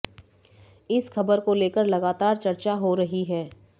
इस खबर को लेकर लगातार चर्चा हो रही है